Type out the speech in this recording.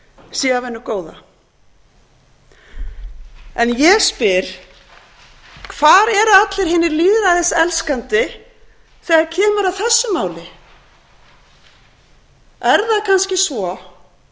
sé af hinu góða en ég spyr hvar eru allir hinir lýðræðiselskandi þegar kemur að þessu máli er það kannski svo